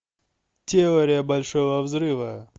теория большого взрыва